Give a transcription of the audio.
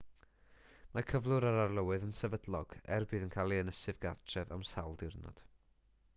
mae cyflwr yr arlywydd yn sefydlog er y bydd yn cael ei ynysu gartref am sawl diwrnod